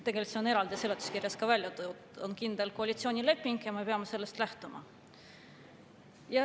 Tegelikult see on seletuskirjas ka eraldi välja toodud, et on koalitsioonileping ja me peame sellest lähtuma.